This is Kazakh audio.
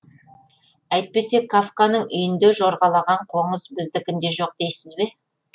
әйтпесе кафканың үйінде жорғалаған қоңыз біздікінде жоқ дейсіз бе